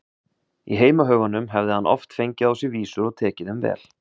Í heimahögunum hefði hann oft fengið á sig vísur og tekið þeim vel.